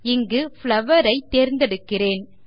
இங்கு புளவர் ஐ தேர்ந்தெடுக்கிறேன்